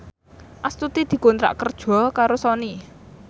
Astuti dikontrak kerja karo Sony